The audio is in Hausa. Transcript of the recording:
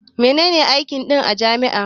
Mene ne aikin Din a jami'a?